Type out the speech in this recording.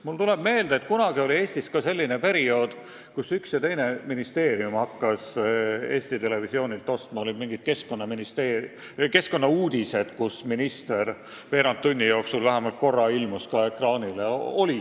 Mulle tuleb meelde, et kunagi oli Eestis selline periood, kui paar ministeeriumi hakkasid Eesti Televisioonilt ostma mingeid keskkonnauudised, kus ka minister ilmus veerand tunni jooksul vähemalt korra ekraanile.